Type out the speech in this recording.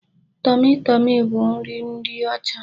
Tọmị Tọmị bụ nri ndị ọcha.